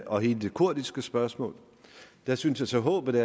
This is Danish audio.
og hele det kurdiske spørgsmål jeg synes at håbet